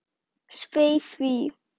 Svei því.